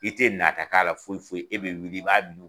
I tɛ nata k'a la foyi foyi , e bɛ wuli i b'a dun.